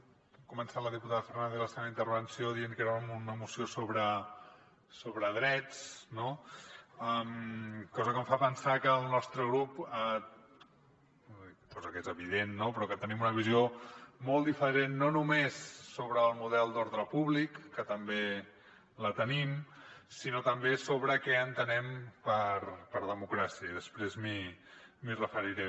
ha començat la diputada fernández la seva intervenció dient que era una moció sobre drets cosa que em fa pensar que el nostre grup cosa que és evident no però que tenim una visió molt diferent no només sobre el model d’ordre públic que també la tenim sinó també sobre què entenem per democràcia i després m’hi referiré